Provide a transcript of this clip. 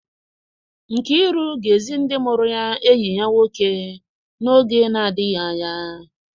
Nkiru ga-ezi ndị mụrụ ya enyi ya nwoke n'oge na-adịghị anya.